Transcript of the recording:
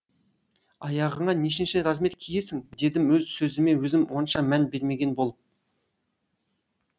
аяғыңа нешінші размер киесің дедім өз сөзіме өзім онша мән бермеген болып